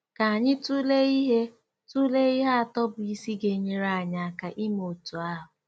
Ka anyị tụlee ihe tụlee ihe atọ bụ́ isi ga-enyere anyị aka ime otú ahụ.